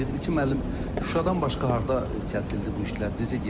İlkin müəllim, Şuşadan başqa harda kəsildi bu işlər, necə getdi?